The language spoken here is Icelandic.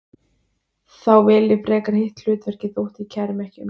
Þá vel ég frekar hitt hlutverkið þótt ég kæri mig ekki um það.